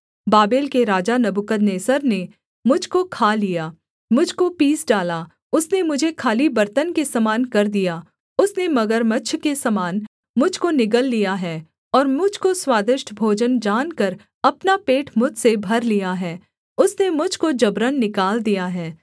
Babel के राजा Nebuchadnezzar ने मुझ को खा लिया मुझ को पीस डाला उसने मुझे खाली बर्तन के समान कर दिया उसने मगरमच्छ के समान मुझ को निगल लिया है और मुझ को स्वादिष्ट भोजन जानकर अपना पेट मुझसे भर लिया है उसने मुझ को जबरन निकाल दिया है